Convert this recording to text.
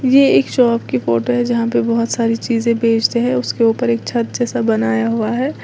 ये एक शॉप की फोटो है जहां पर बोहोत सारी चीजें बेचते हैं उसके ऊपर एक छत जैसा बनाया गया है।